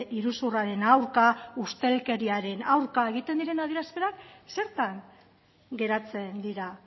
iruzurraren aurka ustelkeriaren aurka egiten diren adierazpenak zertan geratzen dira